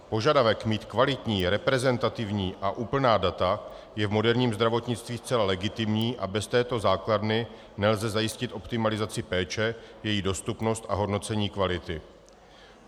Požadavek mít kvalitní, reprezentativní a úplná data je v moderním zdravotnictví zcela legitimní a bez této základny nelze zajistit optimalizaci péče, její dostupnost a hodnocení kvality.